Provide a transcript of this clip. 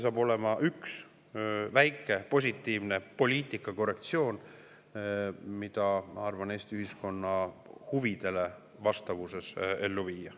See oleks üks väike positiivne poliitika korrektsioon, mida, ma arvan, Eesti ühiskonna huvidele vastamiseks ellu viia.